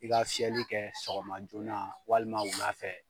I ga fiyɛli kɛ sɔgɔma joona walima wula fɛ